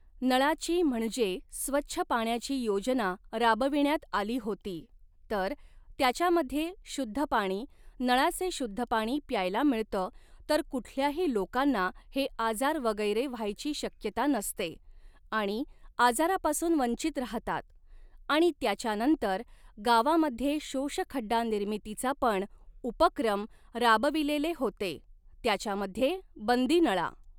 नळाची म्हणजे स्वच्छ पाण्याची योजना राबविण्यात आली होती तर त्याच्यामध्ये शुद्ध पाणी नळाचे शुध्द पाणी प्यायला मिळतं तर कुठल्याही लोकांना हे आजार वगैरे व्हायची शक्यता नसते आणि आजारापासून वंचित राहतात आणि त्याच्यानंतर गावामध्ये शोषखड्डा निर्मितीचा पण उपक्रम राबविलेले होते त्याच्यामध्ये बंदी नळा